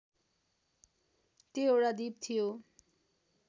त्यो एउटा द्वीप थियो